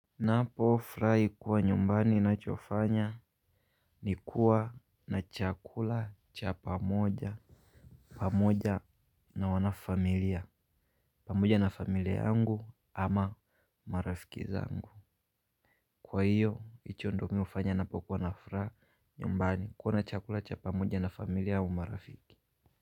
Ninapofurahi kuwa nyumbani, ninachofanya ni kuwa na chakula cha pamoja, pamoja na wanafamilia, pamoja na familia yangu ama marafiki zangu. Kwahiyo, hicho ndiyo mimi hufanya ninapokuwa na furaha nyumbani, kula chakula cha pamoja na familia au marafiki.